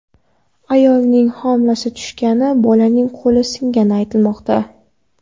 Ayolning homilasi tushgani, bolaning qo‘li singani aytilmoqda.